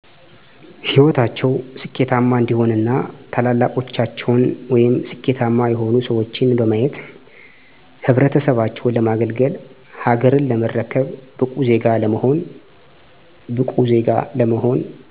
ሂወታቸው ስኬታማ እንዲሆን እና ታላላቆቻቸውን ወይም ስኬታማ የሆኑ ሰዎችን በማየት ህብረተሰባቸውን ለማገልገል፣ ሀገርን ለመረከብ፣ ብቁ ዜጋ ለመሆን።